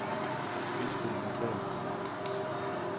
indspil notat